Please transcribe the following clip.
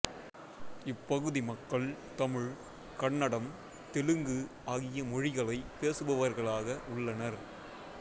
இப்பகுதி மக்கள் தமிழ்கன்னடம் தெலுங்கு ஆகிய மொழிகளை பேசுபவர்களாக உள்ளனர்